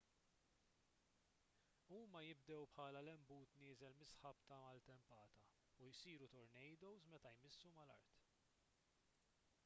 huma jibdew bħala lenbut nieżel mis-sħab tal-maltempata u jsiru tornadoes meta jmissu mal-art